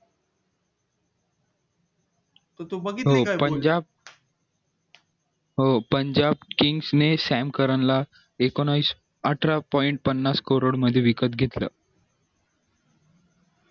पण ज्या हो पण ज्या teams ने सॅम कारण ला एकोणवीस अठरा point पन्नास crore मध्ये विकत घेतलं